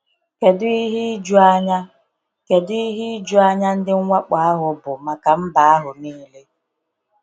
Kedu ihe ijuanya Kedu ihe ijuanya ndị mwakpo ahụ bụ maka mba ahụ niile!